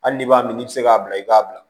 Hali n'i b'a min n'i bɛ se k'a bila i k'a bila